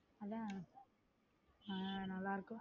அதான் ஹம் நல்லா இருக்கும்.